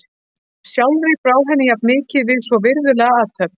Sjálfri brá henni jafnmikið við svo virðulega athöfn.